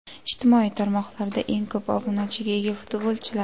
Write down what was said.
Ijtimoiy tarmoqlarda eng ko‘p obunachiga ega futbolchilar.